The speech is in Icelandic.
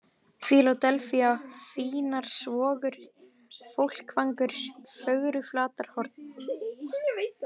Fíladelfía, Fínarsvogur, Fólkvangur, Fögruflatarhorn